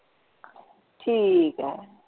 ਠੀਕ ਹੈ।